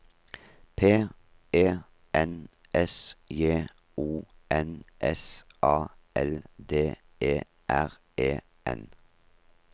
P E N S J O N S A L D E R E N